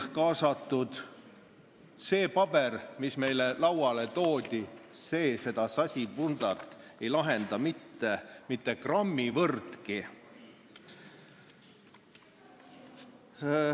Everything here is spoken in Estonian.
See paber, mis meile lauale pandi, ei lahenda seda sasipundart mitte grammi võrragi.